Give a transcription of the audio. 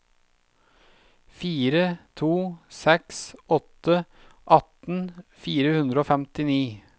fire to seks åtte atten fire hundre og femtini